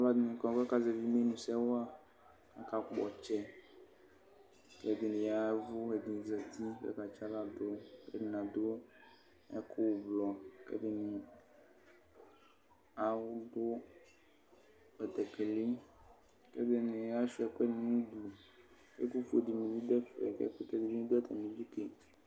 Alʋɛdɩnɩ kɔ kʋ akazɛvɩ imenusɛ wa, akakpɔ ɔtsɛ kʋ ɛdɩnɩ ya ɛvʋ, ɛdɩnɩ zati kʋ akatsɩ aɣla dʋ kʋ ɛdɩnɩ adʋ ɛkʋ ʋblɔ kʋ ɛdɩnɩ aw dʋ betekeli kʋ ɛdɩnɩ asʋɩa ɛkʋɛdɩ nʋ udu Ɛkʋfue dɩnɩ bɩ dʋ ɛfɛ kʋ ɛkʋtɛ dɩnɩ bɩ dʋ atamɩdu ke